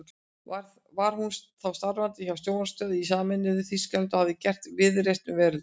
Var hún þá starfandi hjá sjónvarpsstöð í sameinuðu Þýskalandi og hafði gert víðreist um veröldina.